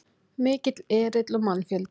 Mikill erill og mannfjöldi